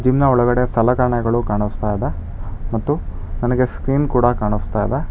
Gym ನ ಒಳಗಡೆ ಸಲಕರಣೆಗಳು ಕಾಣಿಸ್ತಾ ಇದೆ ಮತ್ತು ನನಗೆ ಸ್ಕ್ರೀನ್ ಕೂಡ ಕಾಣಿಸ್ತಾ ಇದೆ.